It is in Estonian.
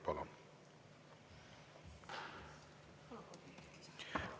Palun!